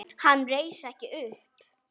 Hann reis ekki upp.